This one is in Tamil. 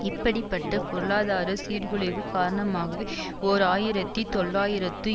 இப்படி பட்ட பொருளாதார சீர்குலைவு காரணமாகவே ஓர் ஆயிரத்தி தொள்ளாயிரத்து